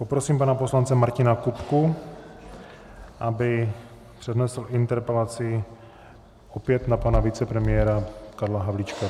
Poprosím pana poslance Martina Kupku, aby přednesl interpelaci, opět na pana vicepremiéra Karla Havlíčka.